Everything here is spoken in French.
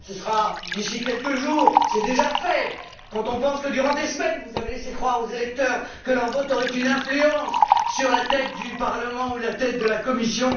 Cela se produira d'ici quelques jours, mais c'est déjà fait quand on pense que pendant des semaines vous avez laissé croire aux électeurs que leurs votes auraient une influence sur la tête du Parlement ou la tête de la Commission.